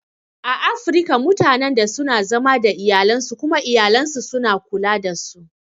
A Afirika mutanan da suna zama da iyalansu kuma iyayansu suna kula dasu